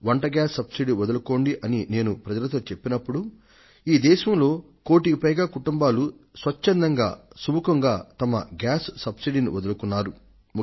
వంట ఇంటి గ్యాస్ సబ్సిడీని వదులుకోండి అని నేను ప్రజలతో చెప్పినప్పుడు ఈ దేశంలో కోటికి పైగా కుటుంబాలు స్వచ్ఛందంగా సుముఖంగా తమ గ్యాస్ సబ్సిడీని వదులుకొన్నాయి